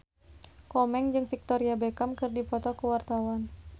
Komeng jeung Victoria Beckham keur dipoto ku wartawan